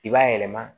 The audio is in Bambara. I b'a yɛlɛma